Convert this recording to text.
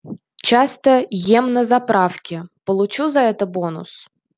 часто ем на заправке получу за это бонус